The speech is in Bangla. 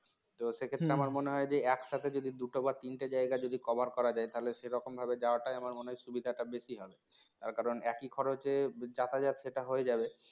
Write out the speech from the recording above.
তো সেক্ষেত্রে আমার মনে হয় যে একসাথে যদি দুটো বা তিনটে জায়গায় যদি cover করা যায় তাহলে সেরকমভাবে যাওয়াটাই আমার মনে হয় সুবিধাটা বেশি হবে তার কারণ একই খরচে যাতায়াত সেটা হয়ে যাবে